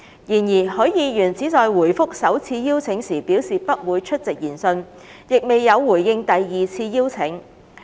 然而，許議員只在回覆首次邀請時表示不會出席研訊，亦未有回應第二次邀請。